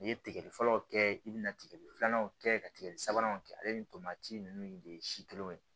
N'i ye tigɛli fɔlɔw kɛ i bɛna tigɛli filanan kɛ ka tigɛ sabanan kɛ ale ni tomati ninnu de ye si kelen ye